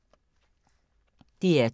DR2